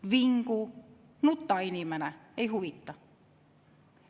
Vingu, nuta, inimene – ei huvita.